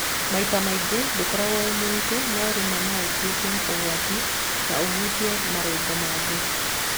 Maita maingĩ ndũkorago wĩ mũritũ no rĩmwe no ũtuĩke ũgwati na ũhutie marũngo maingĩ.